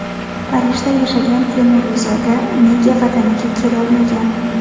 Parijda yashagan temuriyzoda nega Vataniga kelolmagan?.